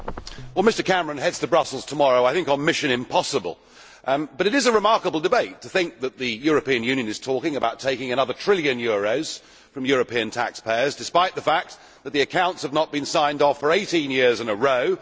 Mr President, Prime Minister Cameron heads to Brussels tomorrow I think, on Mission Impossible' but it is a remarkable debate, in that the European Union is talking about taking another trillion euros from European taxpayers, despite the fact that the accounts have not been signed off for 18 years in a row.